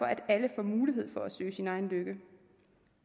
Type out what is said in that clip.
at alle får mulighed for at søge sin egen lykke